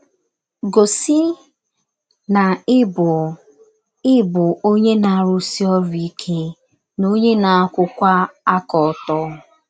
Gọsi na ị bụ na ị bụ ọnye na - arụsi ọrụ ike na ọnye na - akwụwa aka ọtọ.